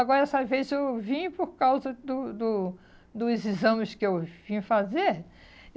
Agora, essa vez eu vim por causa do do dos exames que eu vim fazer.